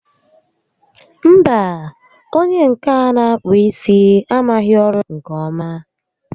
Mba, onyé nke a n'akpụ isi amaghị ọrụ nke ọma